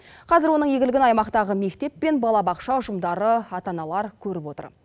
қазір оның игілігін аймақтағы мектеп пен балабақша ұжымдары ата аналар көріп отыр